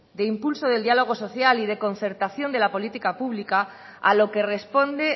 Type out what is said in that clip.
de impulso del diálogo social y de concertación de la política pública a lo que responde